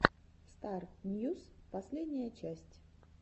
стар ньюс последняя часть